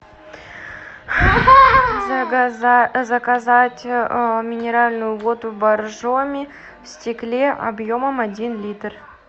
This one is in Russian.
заказать минеральную воду боржоми в стекле объемом один литр